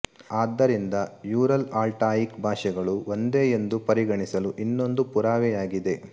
ಆದ್ದರಿಂದ ಯೂರಲ್ಆಲ್ಟಾಯಿಕ್ ಭಾಷೆಗಳು ಒಂದೇ ಎಂದು ಪರಿಗಣಿಸಲು ಇನ್ನೊಂದು ಪುರಾವೆಯಾಗಿದೆ